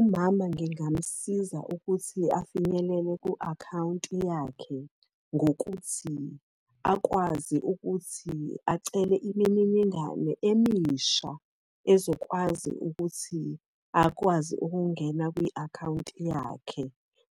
Umama ngingamusiza ukuthi afinyelele ku-akhawunti yakhe ngokuthi, akwazi ukuthi acele imininingane emisha ezokwazi ukuthi akwazi ukungena kwi-akhawunti yakhe.